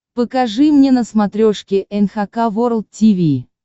покажи мне на смотрешке эн эйч кей волд ти ви